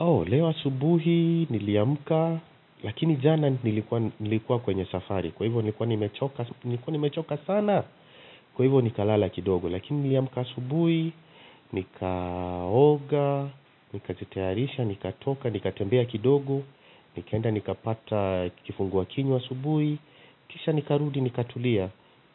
Au, leo asubuhi, niliamka, lakini jana nilikuwa kwenye safari, kwa hivyo nilikuwa nimechoka nilikuwa nimechoka sana, kwa hivyo nikalala kidogo, lakini niliamka asubuhi, nikaoga, nikajitayarisha, nikatoka, nikatembea kidogo, nikaenda nikapata kifungua kinywa asubuhi, kisha nikarudi, nikatulia,